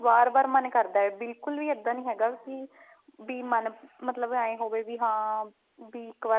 ਬਾਰ ਬਾਰ ਮਨ ਕਰਦਾ ਬਿਲਕੁਲ ਵੀ ਇੱਦਾਂ ਨੀ ਹੈਗਾ ਵੀ ਵੀ ਮਨ ਮਤਲਬ ਏਵੇਂ ਹੋਵੇ ਵੀ ਹਾਂ ਵੀ ਇੱਕ ਵਾਰ